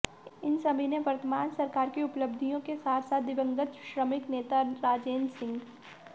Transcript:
इन सभी ने वर्तमान सरकार की उपलब्धियों के साथ साथ दिवंगत श्रमिक नेता राजेंद्र सिंह